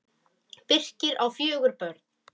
Birkir á fjögur börn.